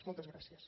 moltes gràcies